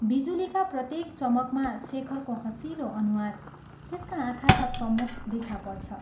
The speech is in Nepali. बिजुलीका प्रत्येक चमकमा शेखरको हँसिलो अनुहार त्यसका आँखाका सम्मुख देखा पर्छ।